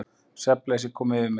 Svefnleysi kom yfir mig.